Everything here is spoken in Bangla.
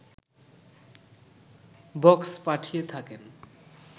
বক্স পাঠিয়ে থাকেন